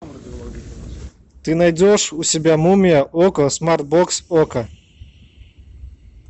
ты найдешь у себя мумия окко смарт бокс окко